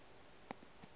o fe yo a ka